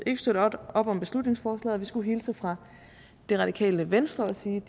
ikke støtte op om beslutningsforslaget skulle hilse fra det radikale venstre og sige